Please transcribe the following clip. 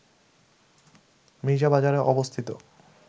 মীর্জাবাজারে অবস্থিত